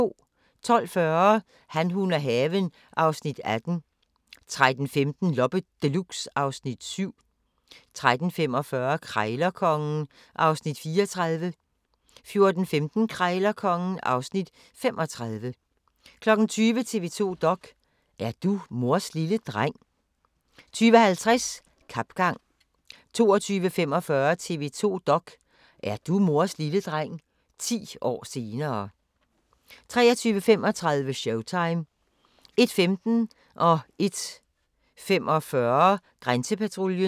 12:40: Han, hun og haven (Afs. 18) 13:15: Loppe Deluxe (Afs. 7) 13:45: Krejlerkongen (Afs. 34) 14:15: Krejlerkongen (Afs. 35) 20:00: TV 2 dok.: Er du mors lille dreng? 20:50: Kapgang 22:45: TV 2 dok.: Er du mors lille dreng? – 10 år senere 23:35: Showtime 01:15: Grænsepatruljen 01:45: Grænsepatruljen